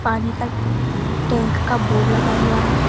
पानी का टैंक का बोर्ड लगा हुआ है।